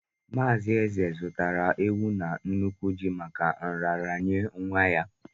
Mazị Eze zụtara ewu na n'nukwu ji maka nraranye nwa ya.